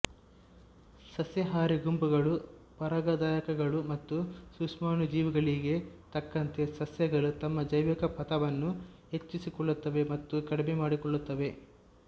ಸಸ್ಯಹಾರಿ ಗುಂಪುಗಳು ಪರಾಗದಾಯಕಗಳು ಮತ್ತು ಸೂಕ್ಷ್ಮಾಣುಜೀವಿಗಳಿಗೆ ತಕ್ಕಂತೆ ಸಸ್ಯಗಳು ತಮ್ಮ ಜೈವಿಕ ಪಥವನ್ನು ಹೆಚ್ಚಿಸಿಕೊಳ್ಳುತ್ತವೆ ಮತ್ತು ಕಡಿಮೆ ಮಾಡಿಕೊಳ್ಳುತ್ತವೆ